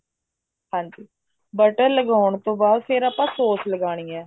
ਹਾਂਜੀ butter ਲਗਾਉਣ ਤੋਂ ਬਾਅਦ ਫ਼ੇਰ ਆਪਾਂ sauce ਲਗਾਉਣੀ ਹੈ